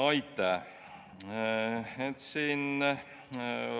Aitäh!